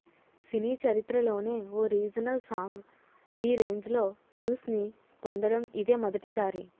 సినీ చరిత్రలోనే ఓ regional song ఈ రేంజ్లో వ్యూస్ని పొందడం ఇదే మొదటి సారి